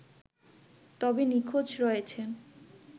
তবে নিখোঁজ রয়েছেন